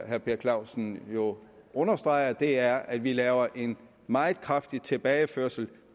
herre per clausen jo understreger er at vi laver en meget kraftig tilbageførsel